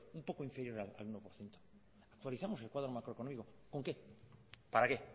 un poco inferior al uno por ciento actualizamos el cuadro macroeconómico con qué para qué